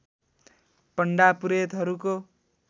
पण्डा पुरेतहरूको